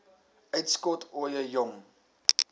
uitskot ooie jong